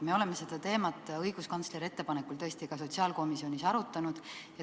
Me oleme seda teemat õiguskantsleri ettepanekul tõesti ka sotsiaalkomisjonis arutanud.